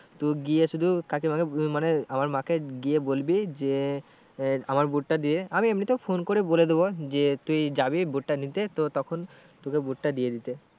তুই গিয়ে শুধু কাকিমা কে মানে আমার মা কে গিয়ে বলবি যে আহ আমার boot টা দিয়ে আমি এমনিতেও phone করে বলে দেবো যে তুই যাবি boot টা নিতে তো তখন তোকে boot টা দিয়ে দিতে।